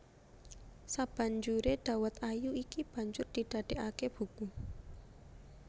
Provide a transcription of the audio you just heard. Sabanjuré Dawet Ayu iki banjur didadéaké buku